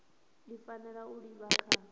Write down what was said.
i fanela u livha kha